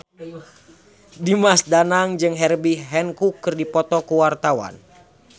Dimas Danang jeung Herbie Hancock keur dipoto ku wartawan